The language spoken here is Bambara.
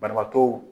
Banabaatɔw